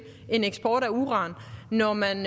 en eksport af uran når man